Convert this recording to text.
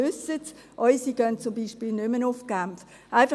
Die Unseren gehen beispielsweise nicht mehr nach Genf.